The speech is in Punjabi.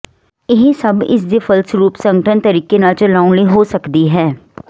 ਇਹ ਸਭ ਇਸ ਦੇ ਫਲਸਰੂਪ ਸੰਗਠਨ ਤਰੀਕੇ ਨਾਲ ਚਲਾਉਣ ਲਈ ਹੋ ਸਕਦੀ ਹੈ